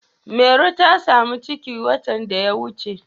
Mairo ta samu ciki watan da ya wuce.